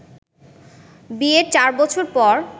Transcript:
বিয়ের চার বছর পর